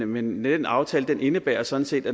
men den aftale indebærer sådan set